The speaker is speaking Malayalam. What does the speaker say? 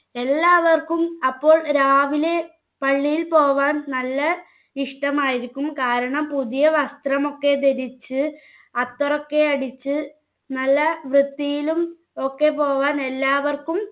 എല്ലാവർക്കും അപ്പോൾ രാവിലെ പള്ളിയിൽ പോകാൻ നല്ല ഇഷ്ടമായിരിക്കും കാരണം പുതിയ വസ്ത്രം ഒക്കെ ധരിച്ച് അത്തറൊക്കെ അടിച്ച് നല്ല വൃത്തിയിലും ഒക്കെ പോകാൻ എല്ലാവർക്കും